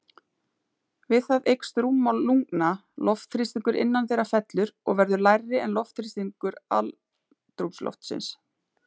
Við það eykst rúmmál lungna, loftþrýstingur innan þeirra fellur og verður lægri en loftþrýstingur andrúmsloftsins.